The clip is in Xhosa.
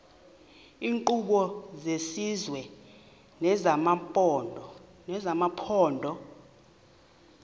iinkqubo zesizwe nezamaphondo